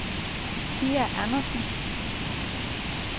Pia Andersen